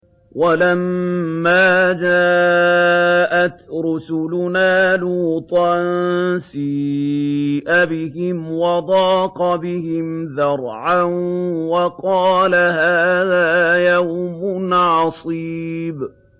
وَلَمَّا جَاءَتْ رُسُلُنَا لُوطًا سِيءَ بِهِمْ وَضَاقَ بِهِمْ ذَرْعًا وَقَالَ هَٰذَا يَوْمٌ عَصِيبٌ